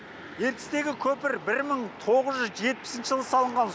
ертістегі көпір бір мың тоғыз жүз жетпісінші жылы салынған